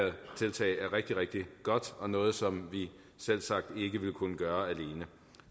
tiltag er rigtig rigtig godt og noget som vi selvsagt ikke ville kunne gøre alene